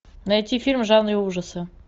найти фильм в жанре ужасы